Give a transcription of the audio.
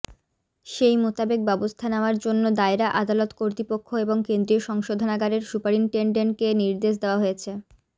সেই মোতাবেক ব্যবস্থা নেওয়ার জন্য দায়রা আদালত কর্তৃপক্ষ এবং কেন্দ্রীয় সংশোধানাগারের সুপারিনটেনডেন্টকে নির্দেশ দেওয়া হয়েছে